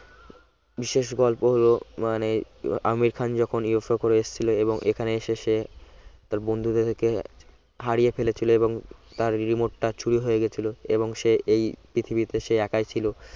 বিশেষ গল্প হল মানে আমির খান UFO বিরত করে এসেছিল এবং এখানে এসেছে তার বন্ধুদেরকে হারিয়ে ফেলেছিল এবং তার remote টা চুরি হয়ে গেছিল এবং সে এই পৃথিবীতে সে একাই ছিল